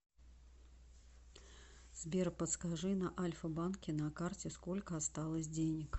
сбер подскажи на альфа банке на карте сколько осталось денег